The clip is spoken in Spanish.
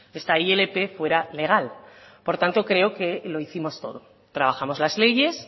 esta ilp fuera legal por tanto creo que lo hicimos todo trabajamos las leyes